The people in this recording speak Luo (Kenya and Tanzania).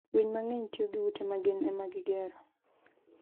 Winy mang'eny tiyo gi ute ma gin ema gigero.